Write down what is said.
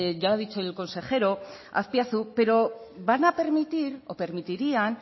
ya lo ha dicho el consejero azpiazu pero van a permitir o permitirían